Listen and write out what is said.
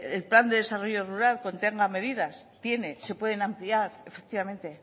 el plan de desarrollo rural contenga medidas tiene se pueden ampliar efectivamente